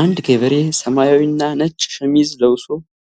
አንድ ገበሬ ሰማያዊና ነጭ ሸሚዝ ለብሶ፣